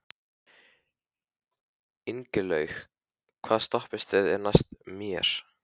Ingilaug, hvaða stoppistöð er næst mér?